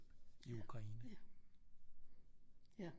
I Ukraine